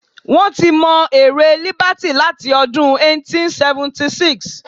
Wọ́n ti mọ ère Líbàtì láti ọdún 1876.